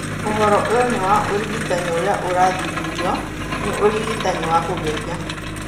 Ũhoro ũyũ nĩ wa ũrigitani ũrĩa ũrathuthurio nĩ ũrigitani wa kũgeria.